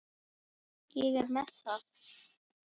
Ég er með það.